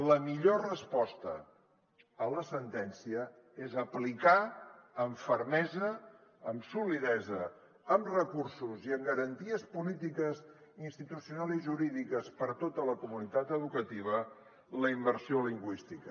la millor resposta a la sentència és aplicar amb fermesa amb solidesa amb recursos i amb garanties polítiques institucionals i jurídiques per a tota la comunitat educativa la immersió lingüística